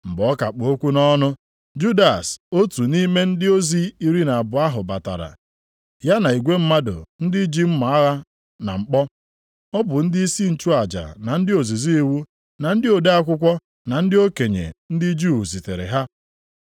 Mgbe ọ ka kpụ okwu nʼọnụ, Judas, otu nʼime ndị ozi iri na abụọ ahụ batara, ya na igwe mmadụ, ndị ji mma agha na mkpọ. Ọ bụ ndịisi nchụaja, na ndị ozizi iwu, na ndị ode akwụkwọ, na ndị okenye ndị Juu zitere ha.